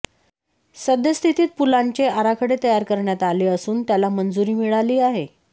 सद्यस्थितीत पुलांचे आराखडे तयार करण्यात आले असून त्याला मंजुरी मिळाली आहे